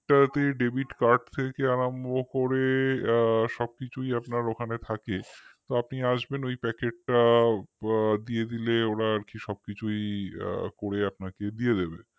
সেটাতে debitcard থেকে আরম্ভ করে সবকিছুই ওটাতে থাকে তো আপনি আসবেন তো ওই packet টা দিয়ে দিলে ওরা আর কি সবকিছুই করে আপনাকে দিয়ে দেবে